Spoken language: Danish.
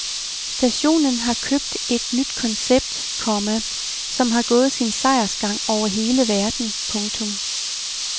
Stationen har købt et nyt koncept, komma som har gået sin sejrsgang over hele verden. punktum